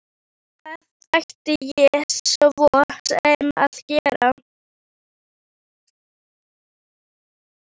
Hvað ætti ég svo sem að gera?